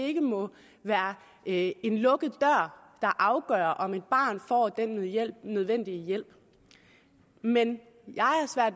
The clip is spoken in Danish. ikke må være en lukket der afgør om et barn får den nødvendige hjælp men